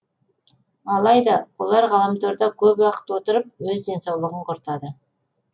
алайда олар ғаламторда көп уақыт отырып өз денсаулығын құртады